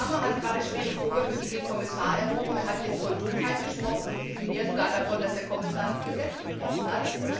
Der Kollege Cramer hat gerade schwere Vorwürfe gegen den Kommissar erhoben. Er hat von Dummheit gesprochen und sogar davon, dass der Kommissar das Gesetz gebrochen hat.